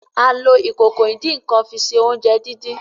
A lo Ìkòkò ìdín-nǹkan fi ṣe oúnjẹ dín dín.